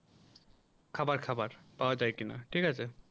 খাবার খাবার পাওয়া যায় কিনা ঠিক আছে